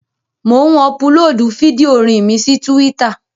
Mò ń ọpulóòdù fídíò orin mi sí túwítà